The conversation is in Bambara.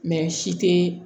si te